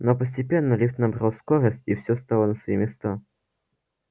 но постепенно лифт набрал скорость и все стало на свои места